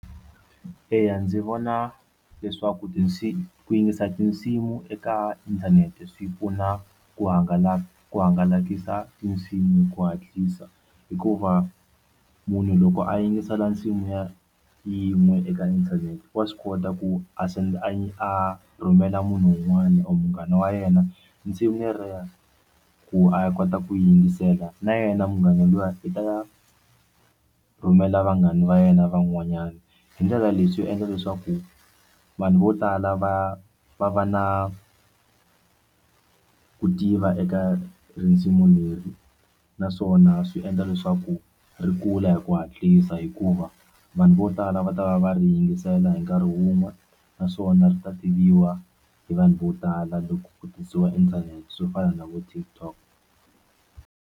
Eya, ndzi vona leswaku tinsimu ku yingisela tinsimu eka inthanete swi pfuna ku hangalaka hangalakisa tinsimu hi ku hatlisa hikuva munhu loko a yingisela nsimu ya yin'we eka inthanete wa swi kota ku a a rhumela munhu un'wana or munghana wa yena nsimu yolero ku a kota ku yingisela na yena munghana luya i ta rhumela vanghana va yena van'wanyana hi ndlela leswi endla leswaku vanhu vo tala va va va na ku tiva eka risimu leri naswona swi endla leswaku ri kula hi ku hatlisa hikuva vanhu vo tala va ta va va ri yingisela hi nkarhi wun'we naswona ri ta tiviwa hi vanhu vo tala loko ku tirhisiwa inthanete swo fana na vo TikTok.